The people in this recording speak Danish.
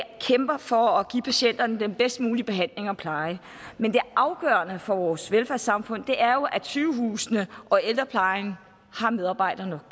kæmper for at give patienterne den bedst mulige behandling og pleje men det afgørende for vores velfærdssamfund er jo at sygehusene og ældreplejen har medarbejdere